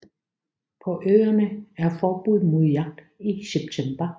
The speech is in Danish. På øerne er forbud mod jagt i september